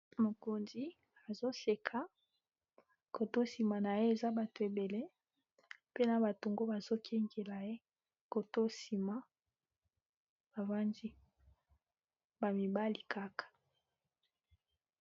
Mokonzi azoseka koto sima na ye eza bato ebele mpe na batungo bazokengela ye koton sima bavandi ba mibali kaka.